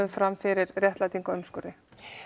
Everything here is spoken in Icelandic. fram fyrir réttlætingu á umskurði